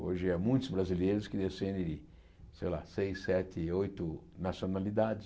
Hoje é muitos brasileiros que descendem de sei lá, seis, sete, oito nacionalidades.